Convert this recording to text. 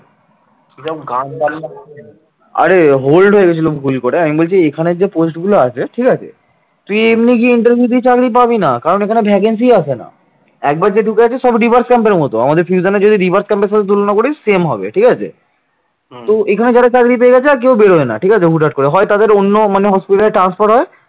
তো এখানে যারা চাকরি পেয়ে গেছে আর কেউ বেড়াই না। ঠিক আছে হুটহাট করে । হয় তাদের অন্য কোন hospital transfer হয়